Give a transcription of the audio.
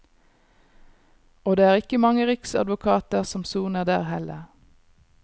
Og det er ikke mange riksadvokater som soner der heller.